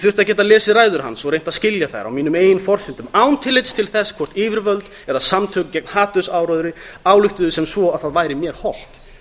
að geta lesið ræður hans og reynt að skilja þær á mínum eigin forsendum án tillits til þess hvort yfirvöld eða samtök gegn hatursáróðri ályktuðu sem svo að það væri mér hollt